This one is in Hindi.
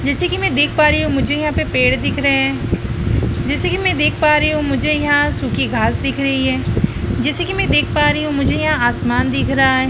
जैसे कि मैं देख पा रही हूँ मुझे यहाँ पे पेड़ दिख रहे हैं जैसे कि मैं देख पा रही हूँ मुझे यहाँ सूखी घास दिख रही है जैसे कि मैं देख पा रही हूँ मुझे यहाँ आसमान दिख रहा है।